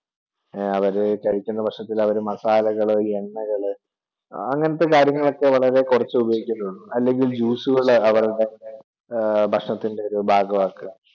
അവര് കഴിക്കുന്ന ഭക്ഷണത്തില് അവർ masala കള് എണ്ണകള് അങ്ങനത്തെ കാര്യങ്ങളൊക്കെ വളരെ കുറച്ചുപയോഗിക്കുന്നുള്ളു, അല്ലെങ്കിൽ juice കൾ അവരുടെ ഭക്ഷണത്തിൻ്റെ ഭാഗമാക്കുക